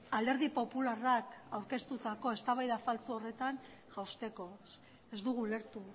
alderdi popularrak aurkeztutako eztabaida faltsu horretan jausteko ez dugu ulertu